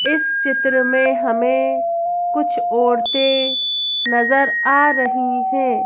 इस चित्र में हमें कुछ औरतें नजर आ रही है।